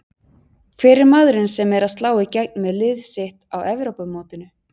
Hver er maðurinn sem er að slá í gegn með lið sitt á Evrópumótinu?